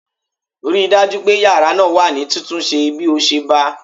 Ri dájú pé yàrá náà wà ní títúnṣẹ bí o ṣe bá a!